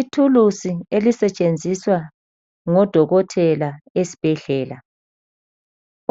Ithuluzi elisetshenziswa ngodokotela esibhedlela.